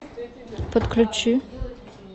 подключи